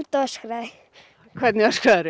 öskraði hvernig